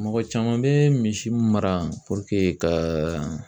Mɔgɔ caman bɛ misi mara puruke ka